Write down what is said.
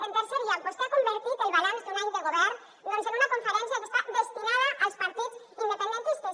en tercer lloc vostè ha convertit el balanç d’un any de govern doncs en una conferència que està destinada als partits independentistes